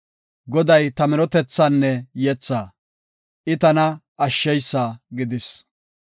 Goday ta minotethaanne yethaa; I tana ashsheysa gidis.